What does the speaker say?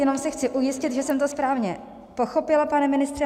Jenom se chci ujistit, že jsem to správně pochopila, pane ministře.